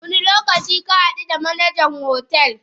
Wani lokaci kahadu da Manajan hotel?